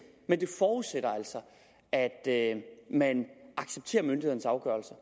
men det forudsætter altså at at man accepterer myndighedernes afgørelse